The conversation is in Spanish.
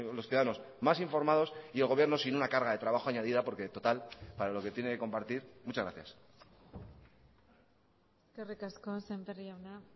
los ciudadanos más informados y el gobierno sin una carga de trabajo añadida porque total para lo que tiene que compartir muchas gracias eskerrik asko sémper jauna